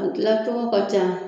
kila cogo ka ca.